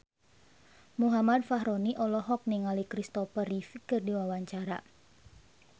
Muhammad Fachroni olohok ningali Christopher Reeve keur diwawancara